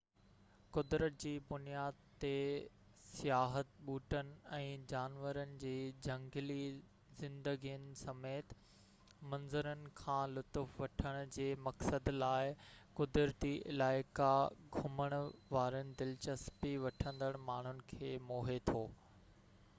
قدرت جي بنياد تي سياحت ٻوٽن ۽ جانورن جي جهنگلي زندگين سميت منظرن کان لطف وٺڻ جي مقصد لاءِ قدرتي علائقا گهمڻ وارن دلچسپي وٺندڙ ماڻهن کي موهي ٿو